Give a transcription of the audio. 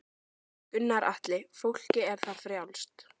Gunnar Atli: Fólki er það frjálst?